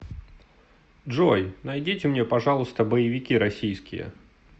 джой найдите мне пожалуйста боевики российские